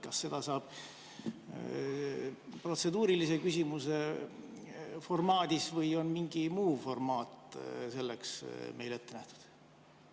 Kas seda saab teha protseduurilise küsimuse formaadis või on mingi muu formaat selleks meile ette nähtud?